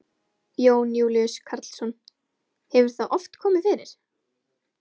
Jón Júlíus Karlsson: Hefur það oft komið fyrir?